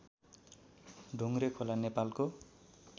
ढुङ्ग्रेखोला नेपालको